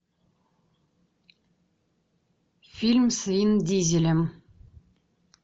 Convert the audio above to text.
фильм с вин дизелем